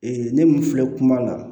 ne mun filɛ kuma la